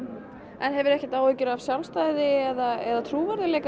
en hefurðu ekkert áhyggjur af sjálfstæði eða trúverðugleika